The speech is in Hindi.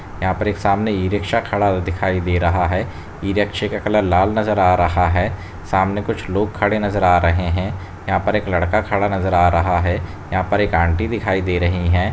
यहाँ पर सामने एक ई-रिक्शा खड़ा हुआ दिखाई दे रहा है ई-रिक्शा का कलर लाल नजर आ रहा है सामने कुछ लोग खड़े नजर आ रहे है यहाँ पर एक लड़का खड़ा नजर आ रहा है यहाँ पर एक आंटी दिखाई दे रही है।